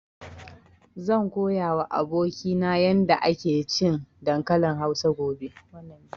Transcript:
Zan koya wa abokina yarda ake cin dankalin Hausa gobe